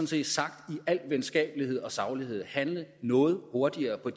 set sagt i al venskabelighed og saglighed handle noget hurtigere på